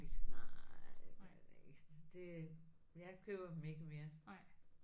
Nej det gør det ikke. Det jeg køber dem ikke mere